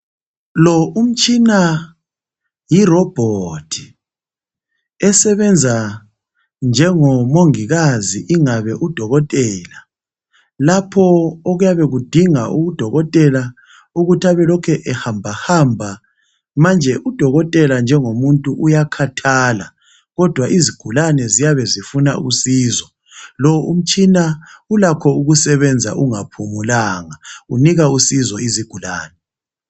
Lo umtshina yi Robot esebenza njengomongikazi ingabe udokotela lapho okuyabe kudinga udokotela ukuthi abe elokhe ehambahamba manje udokotela njengomuntu uyakhathala kodwa izigulani ziyabe zifuna usizo . Lo umtshina ulakho ukusebenza ungaphumulanga unika usizo izigulane